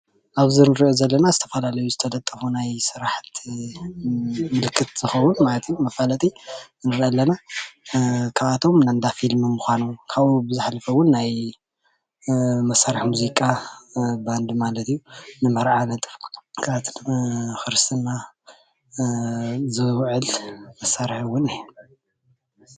ኣብዚ እንሪኦ ዘለና ዝተፈላለዩ ዝተለጠፉ ናይ ስራሕቲ ምልክት ዝከውን ማለት እዩ፡፡ መፋለጢ ንርኢ ኣለና፡፡ ካብኦቶም እንዳፊልሚ ምኳኑ ካብኡ ብዝሓለፈ እዉን ናይ መሳርሒ ሙዚቃ ባንዲ ማለት እዩ ንመርዓ ወይ፣ ንክርስትናን ዝውዕል መሳርሒ እዉን እዩ፡፡